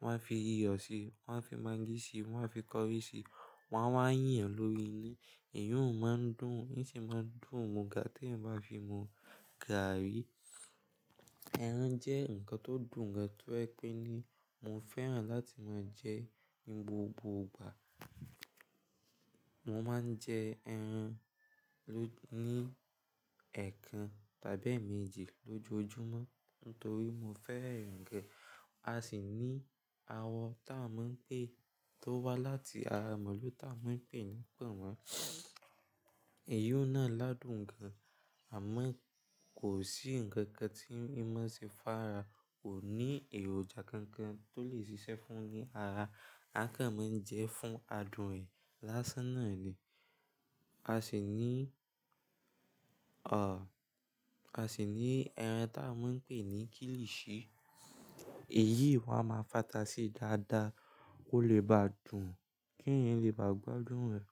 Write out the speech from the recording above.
wọn a fi iyọ̀ sí i, wọn a fi mangí sí i, wọn a fi curry sí i, wọn a wá yàn lóríi ni. Èyí ó máa ń dùn, ó sì máa ń dùn mu ga tí èèyàn bá fi mu gàárì. Ẹran jẹ́ nǹkan tó dùn gan-an tó ẹ́ pé ní mo fẹ́ràn láti máa jẹ ní gbogbo ìgbà. Mo máa ń jẹ ẹran ló-- ní ẹẹkan tàbí èèmejì lójoojúmọ́ nítorí mo fẹ́ ẹran gan. A sì ní àwọ̀ táa mọ̀ ń pè tó wá láti ara màlúù táa mọ̀ ń pè ní pọ̀nmọ́. Èyí ó náà ládùn gan-an. Àmọ́ kò sí nǹkan kan tí mímọ́ ṣe fàrá, kò ní èròjà kankan tó lè ṣiṣẹ́ fún ni ara. A kàn máa ń jẹ fún adùn ẹ̀ lásán náà ni. A sì ní, à, a sì ní ẹran táa mọ̀ ń pè ní kilishi. Èyí ni wọ́n a máa fàtà sí dáadáa kó lè bá dùn, kí èèyàn lè bá gbádùn rẹ̀.